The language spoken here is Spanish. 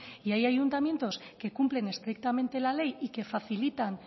y hay ayuntamientos que cumplen estrictamente la ley y que facilitan